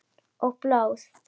Og blóði.